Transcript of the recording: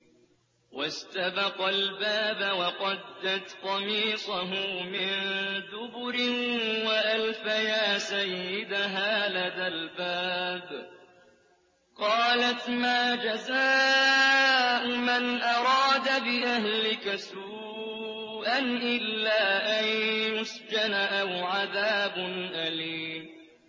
وَاسْتَبَقَا الْبَابَ وَقَدَّتْ قَمِيصَهُ مِن دُبُرٍ وَأَلْفَيَا سَيِّدَهَا لَدَى الْبَابِ ۚ قَالَتْ مَا جَزَاءُ مَنْ أَرَادَ بِأَهْلِكَ سُوءًا إِلَّا أَن يُسْجَنَ أَوْ عَذَابٌ أَلِيمٌ